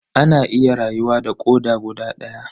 Ana iya rayuwa da koda guda daya.